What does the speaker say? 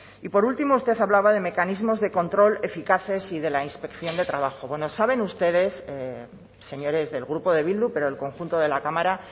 y por último usted hablaba de mecanismos de control eficaces y de la inspección de trabajo bueno saben ustedes señores del grupo de bildu pero el conjunto de la cámara